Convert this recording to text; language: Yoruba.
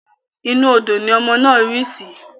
Inú odò ni ọmọ náà rí sì